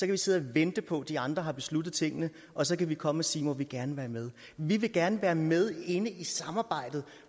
vi sidde og vente på at de andre har besluttet tingene og så kan vi komme og sige må vi gerne være med vi vil gerne være med inde i samarbejdet